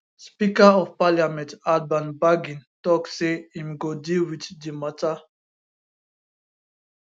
speaker of parliament alban bagbin tok say im go deal wit di mata